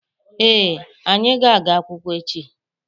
Ee, anyị ga-aga akwụkwọ echi.